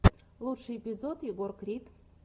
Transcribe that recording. лучший эпизод егор крид